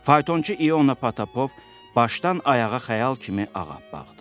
Faytonçu İona Potapov başdan ayağa xəyal kimi ağappaqdır.